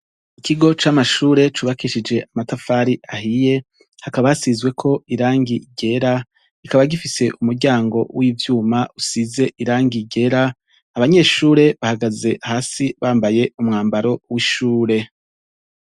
Ikigo c'amashure cubakishije amatafari ahiye, hakaba hasizeko irangi ryera, kikaba gifise umuryango w'ivyuma usize irangi ryera, abanyeshure bahagaze hasi bambaye umwambaro w'ishure.